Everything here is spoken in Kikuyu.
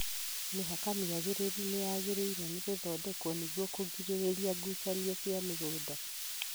Mĩhaka mĩagĩrĩru nĩ yagĩriĩirwo nĩ gũthondekwo nĩguo kũgirĩrĩria ngucanio cia mĩgũnda